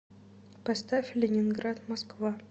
поставь ленинград москва